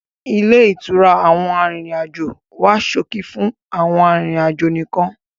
Ilé ìtura àwọn arìnrìn-àjò wá ṣókí fún àwọn arìnrìn-àjò nìkan.